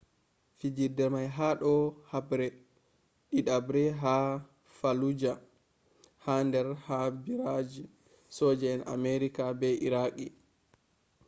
fijirde may ha do haɓre ɗidaɓre ha fallujah ha der ha ɓiraji soje'en amerika be iraqi